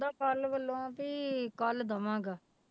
ਕੱਲ੍ਹ ਵੱਲੋਂ ਵੀ ਕੱਲ੍ਹ ਦੇਵਾਂਗਾ।